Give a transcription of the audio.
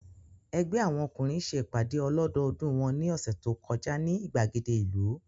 Ẹgbẹ́ àwọn ọkùnrin ṣe ìpàdé ọlọ́dọọdú wọn ní ọ̀sẹ̀ tó kọjá ní ìgbàgede ìlú